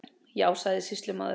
Já, sagði sýslumaður.